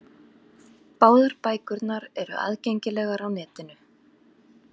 Báðar bækurnar eru aðgengilegar á netinu.